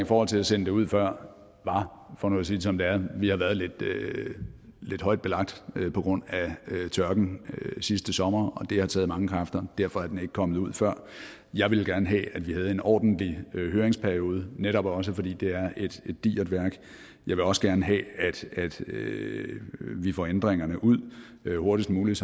forhold til at sende det ud før for nu at sige det som det er er at vi har været lidt lidt højt belagt på grund af tørken sidste sommer og det har taget mange kræfter og derfor er den ikke kommet ud før jeg ville gerne have at vi havde en ordentlig høringsperiode netop også fordi det er et digert værk jeg vil også gerne have at vi får ændringerne ud hurtigst muligt